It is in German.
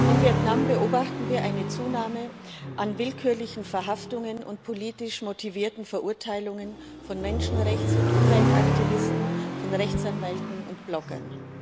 In Vietnam beobachten wir eine Zunahme an willkürlichen Verhaftungen und politisch motivierten Verurteilungen von Menschenrechts und Umweltaktivisten, von Rechtsanwälten und Bloggern.